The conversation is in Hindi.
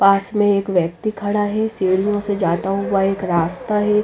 पास में एक व्यक्ति खड़ा है सीढ़ियों से जाता हुआ एक रास्ता है।